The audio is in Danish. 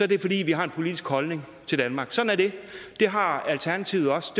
det fordi vi har en politisk holdning til danmark sådan er det det har alternativet også